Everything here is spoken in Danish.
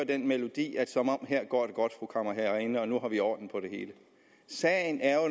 den melodi at her går det godt fru kammerherreinde og nu har vi orden på det hele sagen er